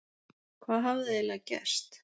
Hvað hafði eiginlega gerst?